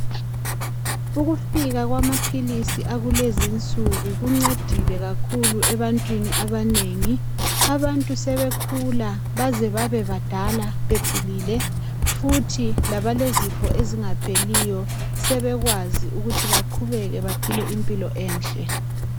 Ukufika kwamaphilisi akulezi nsuku kuncedile kakhulu ebantwini abanengi abantu sebekhula baze babe badala bephilile futhi labalezifo ezingapheliyo sebekwazi ukuthi baqhubeke baphile impilo enhle